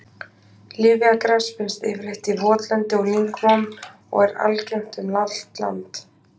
Lyfjagras finnst yfirleitt í votlendi og lyngmóum og er algengt um allt land.